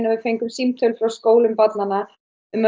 við fengum símtal frá skólum barnanna um að